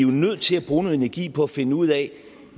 nødt til at bruge noget energi på at finde ud af